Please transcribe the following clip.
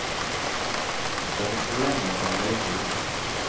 Den skaper problemer over hele kloden.